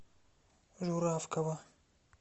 журавкова